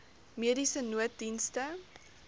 mediese nooddienste